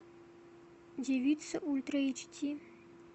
девица ультра эйч ди